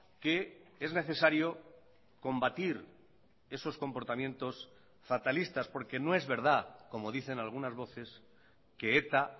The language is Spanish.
que es necesario combatir esos comportamientos fatalistas porque no es verdad como dicen algunas voces que eta